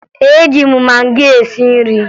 Eji m magị esi nri